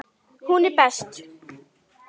Hún er best.